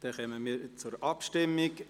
Nun kommen wir zur Abstimmung.